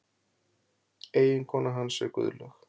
Eiginkona hans er Guðlaug